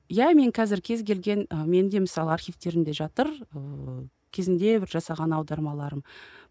иә менің қазір кез келген ы менің де мысалы архивтерімде жатыр ыыы кезінде бір жасалған аудармаларым